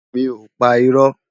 Mi ó pá irò